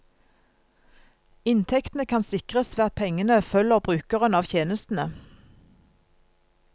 Inntektene kan sikres ved at pengene følger brukeren av tjenestene.